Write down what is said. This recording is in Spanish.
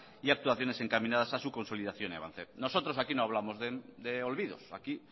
y actuaciones encaminadas a su consolidación y avance nosotros aquí no hablamos de olvidos aquí